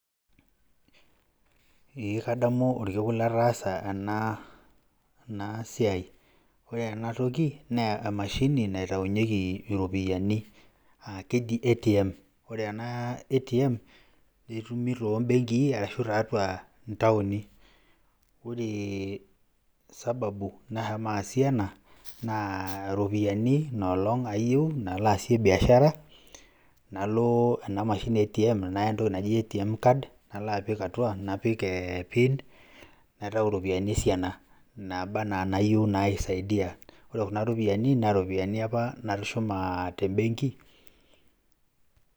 Eeeh kadamu orkekun lataasa ena siai naa ore ena toki naa emashini naitaunyeki iropiani naa keji ATM. Ore ena ATM ketumi to mbenkii arashu tiatua ntaoni. Ore sababu nashomo asie ena naa iropiani ina olong' ayeu nalo aasie biashara nalo ena amshini e ATM naya entoki naji ATM Card, nalo apik atua napik ee PIN naitau iropiani esiana naaba naa nayeu naisaidia. Ore kuna ropiani naa iropiani apa natushuma te mbenk.